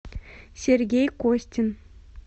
сергей костин